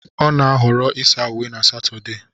Ọ na-ahọrọ ịsa uwe na Satode